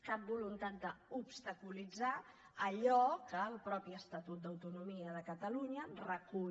cap voluntat d’obstaculitzar allò que el mateix estatut d’autonomia de catalunya recull